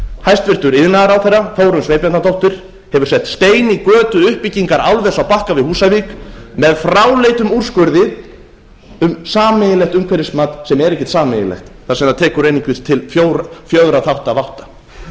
hæstvirtur iðnaðarráðherra þórunn sveinbjarnardóttir hefur sett stein í götu uppbyggingar álvers á bakka við húsavík með fráleitum úrskurði um sameiginlegt umhverfismat sem er ekkert sameiginlegt þar sem það tekur einungis til fjögurra þátta